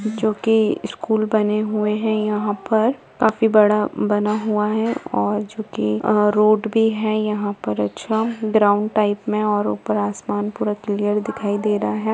जो की स्कूल बनें हुए हैं यहाँ पर। काफी बड़ा बना हुआ है और जो की अ रोड भी है यहाँ पर अच्छा ग्राउंड टाइप में और ऊपर आसमान पूरा क्लियर दिखाई दे रहा है।